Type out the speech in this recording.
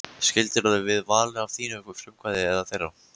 Skildirðu við Val af þínu frumkvæði eða þeirra?